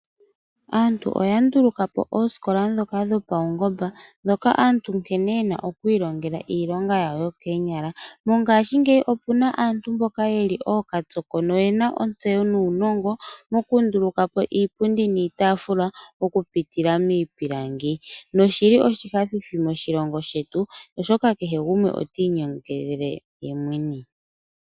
Aantu oya ndulukapo oosikola dhoka dhopaungomba, dhoka aantu nkene yena okwiilongela iilonga yawo yokoonyala. Mongaashingeyi opuna aantu mboka yeli ookatsoko nuunongo moku ndulukapo iipundi niitaafula oku pitila miipilangi, noshili tashi nyanyudha moshilongo shetu oshoka kehe gumwe itiinyangele yemwene.